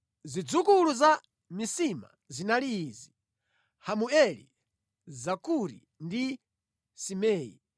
Zidzukulu za Misima zinali izi: Hamueli, Zakuri ndi Simei.